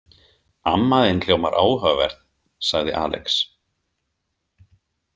Amma þín hljómar áhugaverð, sagði Alex.